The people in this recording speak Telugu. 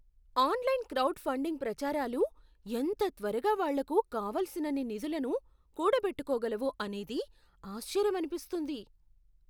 ఆన్లైన్ క్రౌడ్ ఫండింగ్ ప్రచారాలు ఎంత త్వరగా వాళ్ళకు కావలసినన్ని నిధులను కూడబెట్టుకోగలవో అనేది ఆశ్చర్యమనిపిస్తుంది.